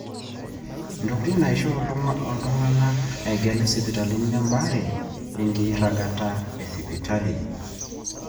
intokitin naaisho oltung'ani egelu sipitali tembaare enkiragata esipitali